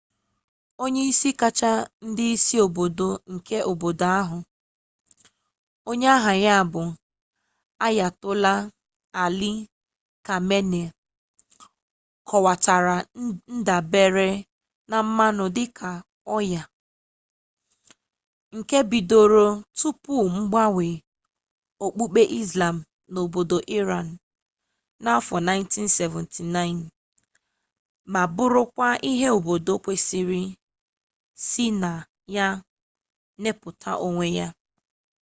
onye isi kacha ndị isi obodo nke obodo ahụ onye aha ya bụ ayatollah ali khamenei kọwatara ndabere na mmanụ dị ka ọnya nke bidoro tupu mgbanwe okpukpe islam n'obodo aịraanụ n'afọ 1979 ma bụrụkwa ihe obodo kwesịrị isi na ya napụta onwe ya